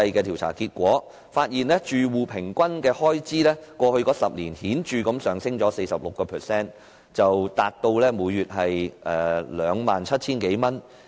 調查結果顯示，住戶平均開支在過去10年顯著累積上升 46%， 達至每月 27,000 多元。